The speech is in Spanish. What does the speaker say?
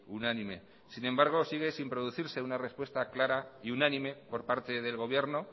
unánime sin embargo sigue sin producirse una respuesta clara y unánime por parte del gobierno